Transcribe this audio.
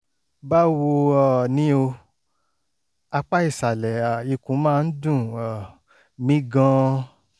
báwo um ni o? apá ìsàlẹ̀ um ikùn máa ń dùn um mí gan-an